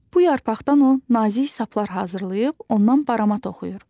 Bu yarpaqdan o nazik saplar hazırlayıb ondan barama toxuyur.